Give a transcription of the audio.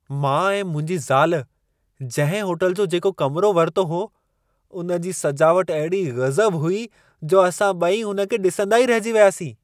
मां ऐं मुंहिंजी ज़ाल जंहिं होटल जो जेको कमिरो वरितो हो, उन जी सजावट अहिड़ी गज़ब हुई जो असां ॿई उन खे ॾिसंदा ई रहिजी वियासीं।